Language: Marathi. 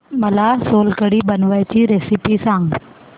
मला सोलकढी बनवायची रेसिपी सांग